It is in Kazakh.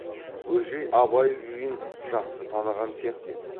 бөжей абай күйін жақсы таныған сияқты еді